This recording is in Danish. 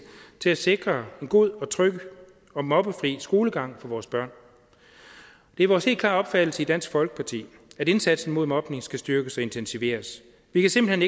til at sikre en god og tryg og mobbefri skolegang for vores børn det er vores helt klare opfattelse i dansk folkeparti at indsatsen mod mobning skal styrkes og intensiveres vi kan simpelt